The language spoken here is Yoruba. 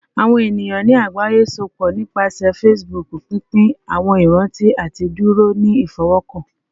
Awọn eniyan ni agbaye sopọ nipasẹ Facebook, pinpin awọn iranti ati duro ni ifọwọkan